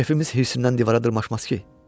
Şefimiz hirsindən divara dırmaşmaz ki.